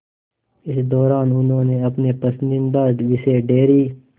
इस दौरान उन्होंने अपने पसंदीदा विषय डेयरी